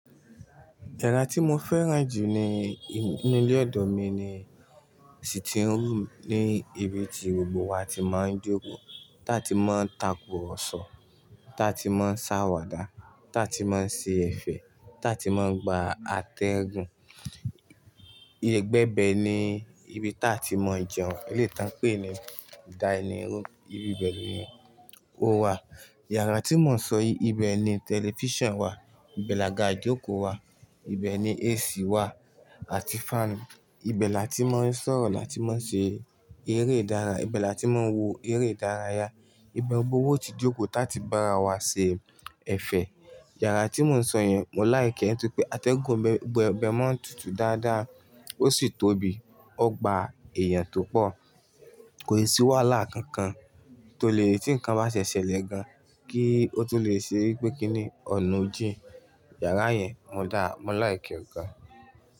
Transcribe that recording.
Yàrá tí mo fẹ́ràn jù ní ilé ọdọ mi ni, sitting room ní ibi tí gbogbo wa ti máa ń jókòó, táa ti máa ń tako ọ̀roṣọ́, táa ti máa ń ṣàwàdà, táa ti máa ń ṣe ẹ̀fẹ̀, táa ti máa ń gba atẹ́gùn. Igbẹ̀bẹ̀ ni ibi táa ti máa ń jẹun, ilé tí wọ́n ń pè ní dinning room ibi bẹ́ẹ̀ ni o wà. Yàrá tí mò ń sọ, ibẹ̀ ni tẹlifíṣàn wà, ibẹ̀ làgà ìjókòó wà, ibẹ̀ ni AC wà àti fan. Ibẹ̀ là tí mò ń sọ̀rọ̀ láti máa ṣe eré ìdárayá, ibẹ̀ là tí mò ń wo eré ìdárayá. Ibe gbogbo wo ti jókòó táa ti bá wa ṣe ẹ̀fẹ̀. Yàrá tí mò ń sọ yẹn, mo like ẹ́ nítorí pé atẹ́gùn ìbẹ̀ bẹ̀ máa ń tutù dáadáa, ó sì tóbi, ó gba èèyàn tó pọ̀. Kò sí wàhálà kankan tó lè tí nǹkan bá ṣe ṣẹlẹ̀ gan-an, kí ó tó lè ṣe wípé kí ni ọ̀nà ojì. Yàrá yẹn, mo dá, mo like ẹ́ gan.